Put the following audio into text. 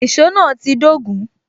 Èsó náà ti dogun